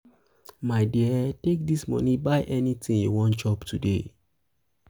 my dear take dis money buy anything you wan chop today.